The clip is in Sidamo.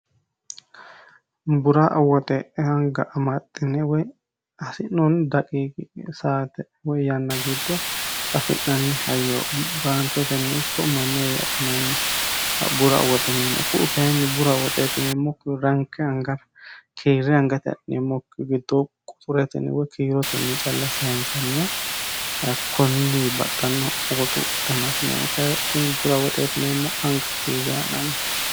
bura woxe hanga amaaxxine woy asi'noonni daqiii saate woy yanna giddo afi'nanni hayyo baanketenni ikko manuwe adhinannibura awwoxeneemmo ku u kayinni bura woxeetineemmoranki angara kiirre hangate a'neemmokki gittoo quturetinewoy kiirotenni calla sahensanniyahakkonni baxxanno ogoxu danatineemmo k kuni bura woxeetineemmo hanga kiirri ha'nanni